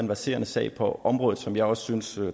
verserende sag på området som jeg også synes